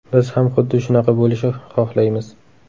Biz ham xuddi shunaqa bo‘lishi xohlaymiz.